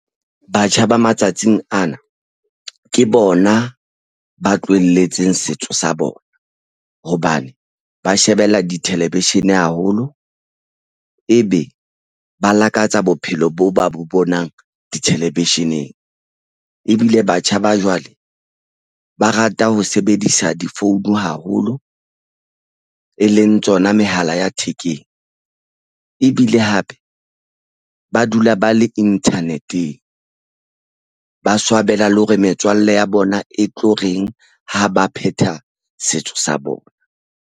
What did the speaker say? Batjha ba matsatsing ana ke bona ba tlohelletseng setso sa bona. Hobane ba shebella di-television haholo, ebe ba lakatsa bophelo boo ba bo bonang di-television-eng. Ebile batjha ba jwale ba rata ho sebedisa difounu haholo e leng tsona mehala ya thekeng. Ebile hape ba dula ba le internet-eng, ba swabela le hore metswalle ya bona e tlo reng ha ba phetha setso sa bona.